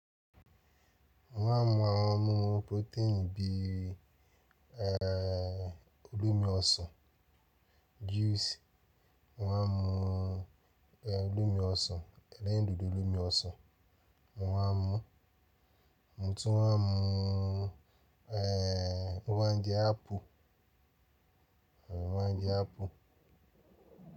Mo wá mú àwọn ọmú protein bí i olómi ọsàn, juice, mo wá mu olómi ọsàn, elérindùndùn olómi ọsàn, mo wá mú. Mo tún wá mú mo má ń jé apple, má ń jé apple.